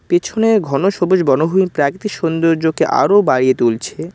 পেছনের ঘন সবুজ বনভূমি প্রাকৃতিক সৌন্দর্যকে আরো বাড়িয়ে তুলছে।